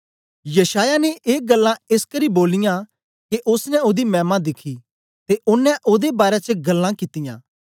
यशायाह ने ऐ ग्ल्लां एसकरी बोलियां के ओसने ओदी मैमा दिखी ते ओंने ओदे बारै च ग्ल्लां कित्तियां